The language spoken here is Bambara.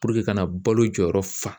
ka na balo jɔyɔrɔ fa